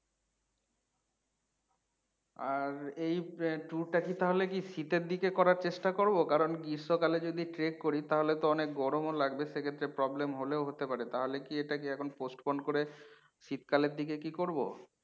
আর এই আহ tour টা কি তালে কি শীতের দিকে করার চেষ্টা করবো কারণ গ্রীষ্মকালে যদি trek করি তাহলে তো অনেক গরম লাগবে, সেক্ষেত্রে problem হলেও হতে পারে। তাহলে কি এটা কি এখন postpone করে শীতকালের দিকে কি করবো?